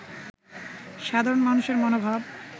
সাধরণ মানুষের মনোভাব